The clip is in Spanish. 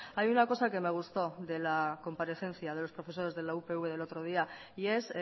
hay una cosa que me gustó de la comparecencia de los profesores de la upv del otro día y es